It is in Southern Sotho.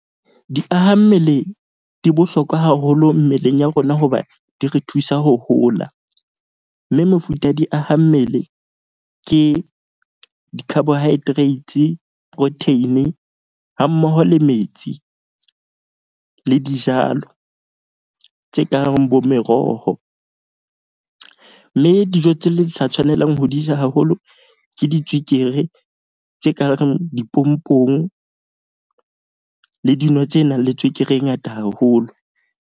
Diaha mmele di bohlokwa haholo mmeleng ya rona hoba di re thusa ho hola. Mme mefuta ya diaha mmele ke di-carbohydrates, protein-i hammoho le metsi le dijalo tse kang bo meroho. Mme dijo tse le sa tshwanelang ho di ja haholo. Ke ditswekere tse ka reng dipompong le dino tse nang le tswekere e ngata haholo.